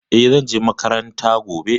E, zan je makaranta gobe.